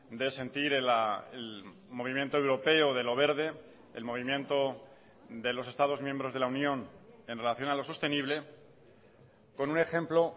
de sentir el movimiento europeo de lo verde el movimiento de los estados miembros de la unión en relación a lo sostenible con un ejemplo